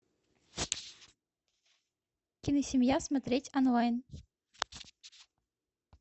киносемья смотреть онлайн